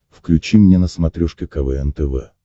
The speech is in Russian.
включи мне на смотрешке квн тв